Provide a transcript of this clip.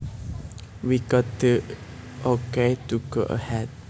We got the okay to go ahead